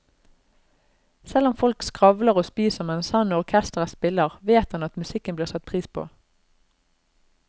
Selv om folk skravler og spiser mens han og orkesteret spiller, vet han at musikken blir satt pris på.